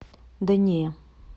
да не